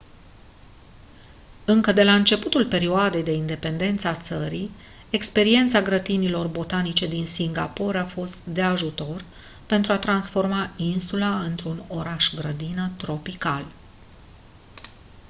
încă de la începutul perioadei de independență a țării experiența grădinilor botanice din singapore a fost de ajutor pentru a transforma insula într-un oraș-grădină tropical